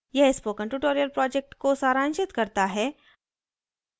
यह spoken tutorial project को सारांशित करता है